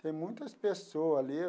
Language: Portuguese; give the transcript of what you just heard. Tem muitas pessoa ali.